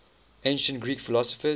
ancient greek philosophers